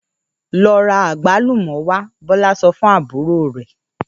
‘Lo̩ ra àgbálùmò̩ wá!’. Bó̩lá so̩ fún àbúrò rè̩